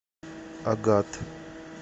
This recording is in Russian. агат